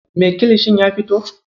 Me kilishin ya fito?